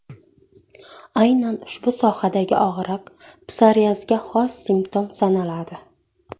Aynan ushbu sohadagi og‘riq, psoriazga xos simptom sanaladi.